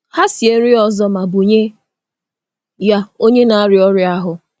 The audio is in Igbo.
Ha sie nri ọzọ ma bunye ya onye na-arịa ọrịa ahụ.